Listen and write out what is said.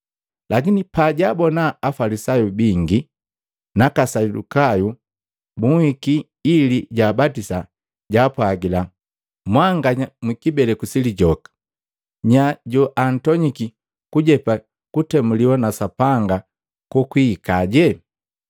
Lakini pajaabona Afalisayu bingi naka Asadukayu bunhiki ili jaabatisa, jaapwagila, “Mwanganya mwi kibeleku si lijoka! Nya joantonyiki kujepa kutemuliwa na Sapanga kokwihikaje?